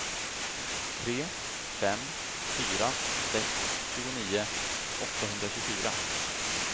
tre fem fyra sex tjugonio åttahundratjugofyra